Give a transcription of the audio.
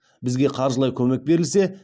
бізге қаржылай көмек берілсе